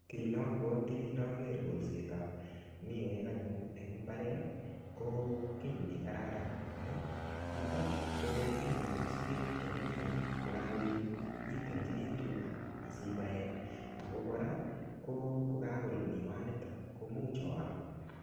Kiy ne abwati ndager kolsetab miwek anyun eng mbaret, ko kiy ne kararan. Amu niton, ko inyoru sagek chebo miwek. Kokakoet, itilchini tuga asibae. Ako kora, kokakorur miwaniton, komuch oam.